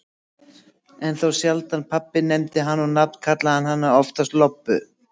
En þá sjaldan pabbi nefndi hana á nafn, kallaði hann hana oftast Lobbu.